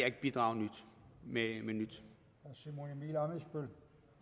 ikke bidrage med noget